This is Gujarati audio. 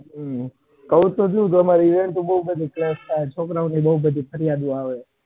કહું તો છુ અમાર event બૌ થાય એટલેછોકરાઓ ની બૌ ફરિયાદ આવે છે.